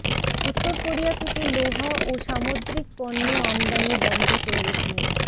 উত্তর কোরিয়া থেকে লোহা ও সামদ্রিক পণ্য আমদানি বন্ধ করল চীন